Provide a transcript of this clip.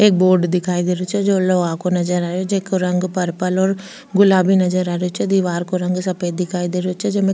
एक बोर्ड दिखाई दे रो छे जो लोहा को नजर आ रेहो जेको पर्पल और गुलाबी नजर आ रेहो छे दिवार को रंग सफ़ेद दिखाई दे रो छे जेमे --